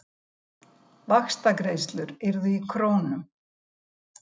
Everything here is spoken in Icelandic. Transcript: Vaxtagreiðslur yrðu í krónum